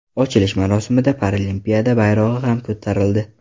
Ochilish marosimida Paralimpiada bayrog‘i ham ko‘tarildi.